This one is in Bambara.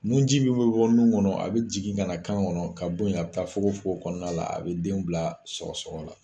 Nunji min bɛ bɔ nun kɔnɔ a bɛ jigin ka na kan kɔnɔ ka bɔ yen a bɛ taa fogofogo kɔnɔna la a bɛ denw bila sɔgɔsɔgɔ la